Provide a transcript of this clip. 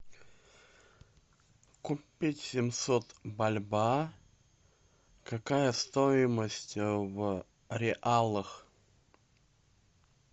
купить семьсот бальбоа какая стоимость в реалах